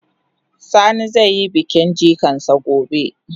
Sani zai yi bikin jikan sa gobe.